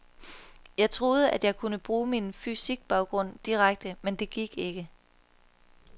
Jeg troede, at jeg kunne bruge min fysikbaggrund direkte, men det gik ikke.